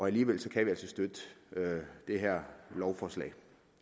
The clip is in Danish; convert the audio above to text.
alligevel kan vi altså støtte det her lovforslag